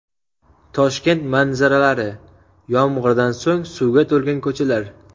Toshkent manzaralari: Yomg‘irdan so‘ng suvga to‘lgan ko‘chalar .